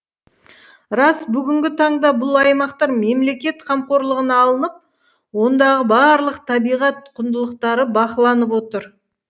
рас бүгінгі таңда бұл аймақтар мемлекет қамқорлығына алынып ондағы барлық табиғат құндылықтары бақыланып отыр